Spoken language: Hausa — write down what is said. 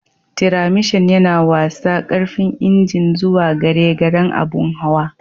Tiramishan yana watsa karfin injin zuwa gare garen abun hawan.